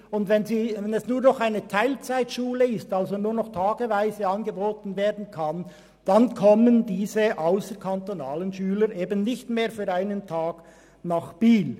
Wenn es nur noch eine Teilzeit-Schule wäre, dann kämen diese ausserkantonalen Schüler nicht für einen einzigen Tag nach Biel.